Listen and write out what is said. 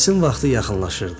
Məclisin vaxtı yaxınlaşırdı.